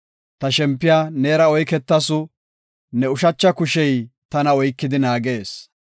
Ta shempiya neera oyketasu; ne ushacha kushey tana oykidi naagees.